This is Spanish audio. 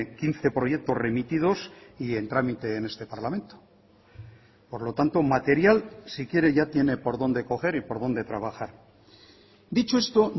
quince proyectos remitidos y en trámite en este parlamento por lo tanto material si quiere ya tiene por dónde coger y por dónde trabajar dicho esto